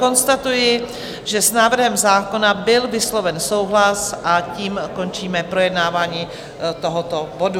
Konstatuji, že s návrhem zákona byl vysloven souhlas, a tím končíme projednávání tohoto bodu.